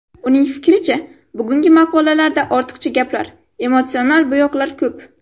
Uning fikricha, bugungi maqolalarda ortiqcha gaplar, emotsional bo‘yoqlar ko‘p.